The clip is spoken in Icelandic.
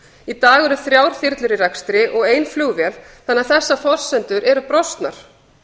í dag eru þrjár þyrlur í rekstri og ein flugvél þannig að þessar forsendur eru brostnar